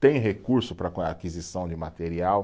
Tem recurso para aquisição de material?